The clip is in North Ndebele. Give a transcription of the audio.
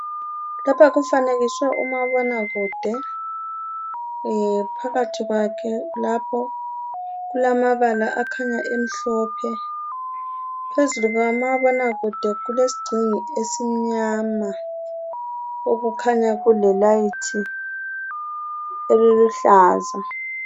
Lapha kufanekiswe umabonakude phakathi kwakhe lapho kulamabala akhanya amhlophe. Phezu kukamabonakude kulesigxingi esimnyama okukhanya kulelayithi eliluhlaza.